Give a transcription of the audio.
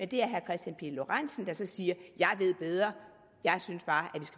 det er herre kristian pihl lorentzen der så siger jeg ved bedre jeg synes bare